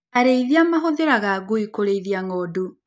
Arĩithia mahũthĩraga ngui kũrĩithia ng;ondu.